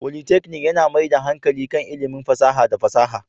Politeknik yana mai da hankali kan ilimin fasaha da fasaha